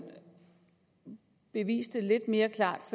beviste lidt mere klart